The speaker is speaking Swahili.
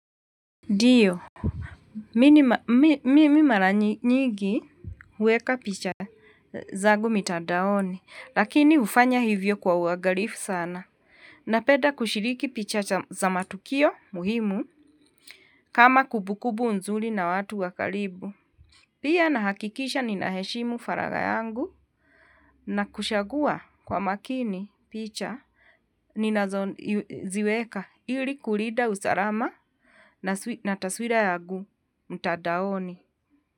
Ndio, mimi mara nyigi huweka picha zangu mitadaoni, lakini hufanya hivyo kwa uangalifu sana, napenda kushiriki picha za matukio muhimu, kama kumbukumbu nzuri na watu wa karibu. Pia nahakikisha ninaheshimu faraga yangu na kushagua kwa makini picha ninazoziweka ili kulinda usalama na taswira yangu mtadaoni.